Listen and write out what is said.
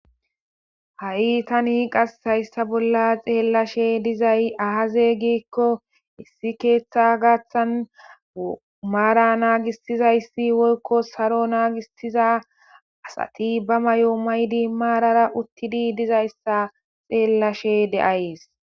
Ha7i tani qashayssa bolla xeellashe dizay ahaze giikko issi keeththa gaaththan maara naagistizayssi woykko saro naagistiza asati ba may7o maydi maarara uttidi dizayssa xeellashe de7ayees.